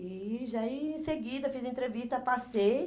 E já em seguida, fiz entrevista, passei.